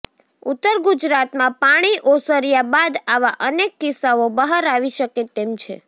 ઉત્તર ગુજરાતમાં પાણી ઓસર્યા બાદ આવા અનેક કિસ્સાઓ બહાર આવી શકે તેમ છે